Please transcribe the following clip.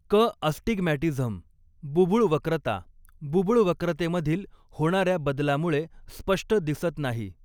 क अस्टिगमॅटिझम बुबुळ वक्रता बुबुळ वक्रतेमधील होणा या बदलामुळे स्पष्ट दिसत नाही.